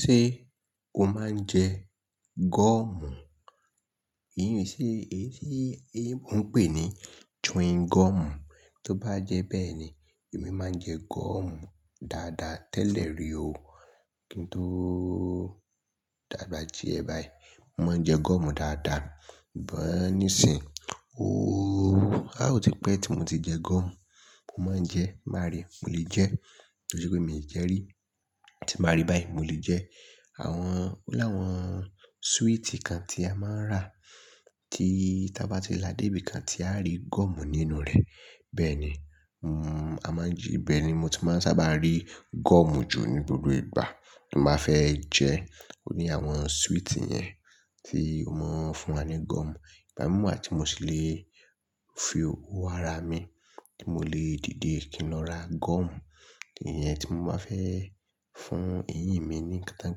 Ṣé o máa ń jẹ gọ́ọ̀mù? Èyí ni, ṣé èyí tí ẹ̀ bọ̀ ń pè ní chewing gọ́ọ̀mù? Tó bá jẹ́ bẹ́ẹ̀ ni, èmi máa ń jẹ gọ́ọ̀mù dáadáa tẹ́lẹ̀ rí o. Kí n tó dàgbà díẹ̀ báyìí, mo máa ń jẹ gọ́ọ̀mù dáadáa. Ì bo ni seọ̀, ooo, áò ti pẹ́ tí mo ti jẹ gọ́ọ̀mù. Mo máa ń jẹ, máa rí, mo lè jẹ́, torí pé mi ò jẹ rí. Tí máa rí báyìí, mo lè jẹ. Àwọn, o láwọn sweet kan tí a máa ń rà, tí táa bá ti làdé ibi kan, tí a rí gọ́ọ̀mù nínú rẹ̀. Bẹ́ẹ̀ ni, mo máa ń ji, bẹ́ẹ̀ ni mo ti máa ń sábà rí gọ́ọ̀mù jù ní gbogbo ìgbà. Mo máa fẹ́ jẹ oní àwọn sweet yẹn tí ó máa ń fún wa ní gọ́ọ̀mù. Ìbámu wà ti mo sì lè fi owó ara mi tí mo lè dìde kí n lọ ra gọ́ọ̀mù. Ẹ̀yin tí báa fẹ́ fún eyín mi ní kí wọ́n ń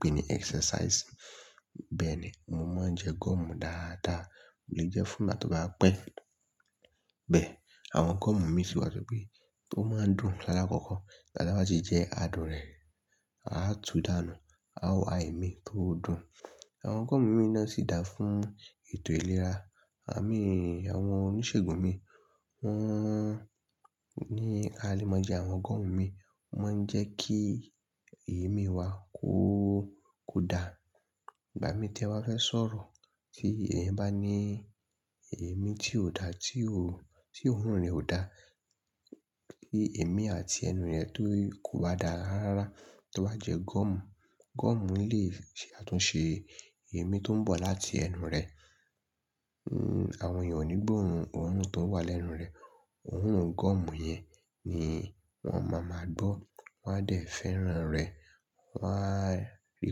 pè ní exercise. Bẹ́ẹ̀ ni, mo máa ń jẹ gọ́ọ̀mù dáadáa. Mo lè jẹ́ fún ìbà tó bá pẹ́. Bẹ́ẹ̀, àwọn gọ́ọ̀mù mi sì wà torí pé tó máa ń dùn lálẹ́ kọ́kọ́. Lálẹ́ bá ti jẹ́, a dùn rẹ̀, a tú dànù, a ò ái mí mọ́ dùn. Àwọn gọ́ọ̀mù mi náà sì dà fún ètò ìlera. Ẹ̀mi, àwọn oníṣègùn mi wọ́n ni a lè máa jẹ àwọn gọ́ọ̀mù mi. Wọ́n máa ń jẹ́ kí èémí wa kú, kú dà. Ìbá mi tẹ́wa fẹ́ sọ̀rọ̀ tí ẹ̀yin bá ní èémí tí ò da, tí ò rún, tí òórùn rẹ ò da. Kí èmí àti ẹnu rẹ tó kò bá dà rárá, tó bá jẹ gọ́ọ̀mù, gọ́ọ̀mù lè ṣe àtúnṣe èémí tó ń bọ̀ láti ẹnu rẹ. Awọn èèyàn ò ní gbóòórùn òórùn tó ń wá lẹ́nu rẹ. Òórùn gọ́ọ̀mù yẹn ni wọ́n máa máa gbọ́, wọn a lè fẹ́ràn rẹ̀. Wọn á rí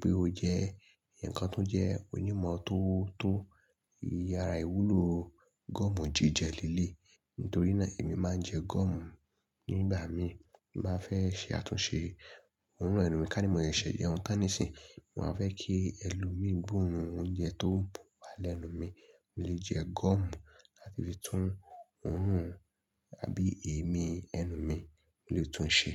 pé o jẹ́ ǹkan tó jẹ́ onímọ̀ tó, tó yára ìwúlò gọ́ọ̀mù jíjẹ líle. Nítorí náà èmi máa ń jẹ gọ́ọ̀mù nígbà mi. Mo máa fẹ́ ṣe àtúnṣe òórùn ẹnu mi ká ní mọ ẹsẹ jẹun tán nisinyi. Mo máa fẹ́ kí ẹlòmí gbóòórùn oúnjẹ tó ń bọ̀ wá lẹ́nu mi. Mo lè jẹ gọ́ọ̀mù láti fi tún òórùn àbí èémí ẹnu mi, mo lè tún un ṣe.